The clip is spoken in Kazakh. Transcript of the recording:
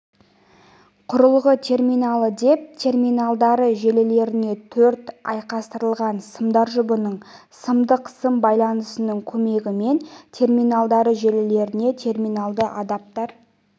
құрылғы терминалы деп терминалдары желілеріне төрт айқастырылған сымдар жұбының сандық сым байланысының көмегімен терминалдары желілеріне терминалды адаптер